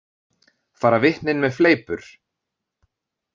Fara vitnin með fleipur?